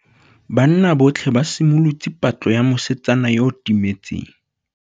Banna botlhê ba simolotse patlô ya mosetsana yo o timetseng.